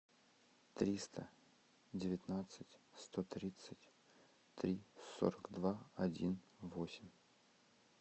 триста девятнадцать сто тридцать три сорок два один восемь